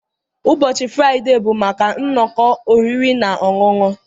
Ụbọchị Fraịde bụ maka nnọkọ oriri na ọṅụṅụ.